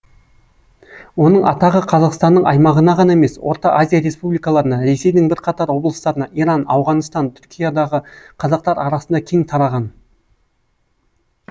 оның атағы қазақстанның аймағына ғана емес орта азия республикаларына ресейдің бірқатар облыстарына иран ауғаныстан түркиядағы қазақтар арасында кең тараған